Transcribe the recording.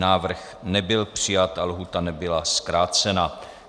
Návrh nebyl přijat a lhůta nebyla zkrácena.